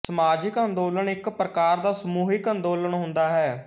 ਸਮਾਜਕ ਅੰਦੋਲਨ ਇੱਕ ਪ੍ਰਕਾਰ ਦਾ ਸਮੂਹਿਕ ਅੰਦੋਲਨ ਹੁੰਦਾ ਹੈ